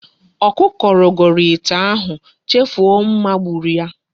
Okuko rogoro ite ihu, chefu o mma gburu ya